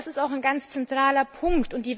Das ist auch ein ganz zentraler Punkt.